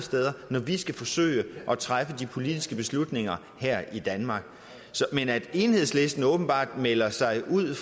når vi skal forsøge at træffe de politiske beslutninger her i danmark men at enhedslisten åbenbart melder sig ud